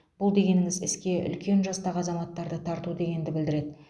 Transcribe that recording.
бұл дегеніңіз іске үлкен жастағы азаматтарды тарту дегенді білдіреді